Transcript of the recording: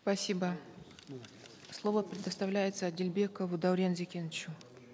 спасибо слово предоставляется адильбекову даурену зекеновичу